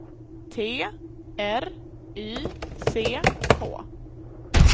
T R Y C K